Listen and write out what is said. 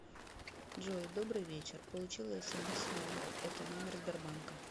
джой добрый вечер получила смс с номера это номер сбербанка